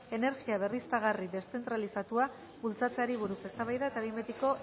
energia berriztagarri deszentralizatua bultzatzeari buruz eztabaida eta behin betiko